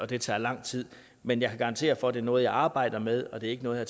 det tager lang tid men jeg kan garantere for at det er noget jeg arbejder med og ikke noget